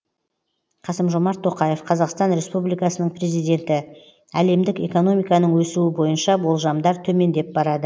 қасым жомарт тоқаев қазақстан республикасының президенті әлемдік экономиканың өсуі бойынша болжамдар төмендеп барады